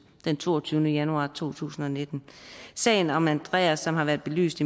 den toogtyvende januar to tusind og nitten sagen om andreas som har været belyst